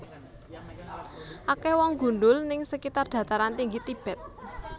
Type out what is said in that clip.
Akeh wong gundul ning sekitar Dataran Tinggi Tibet